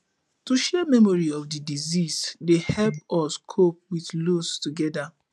to share memories of di deceased dey help us cope with loss together